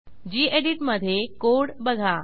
गेडीत मधे कोड बघा